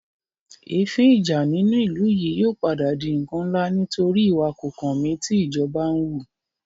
Èéfín ìjà inú ìlú yìí yóò padà di ǹkan ńlá nítorí ìwà kòkànmí tí ìjọba ń wù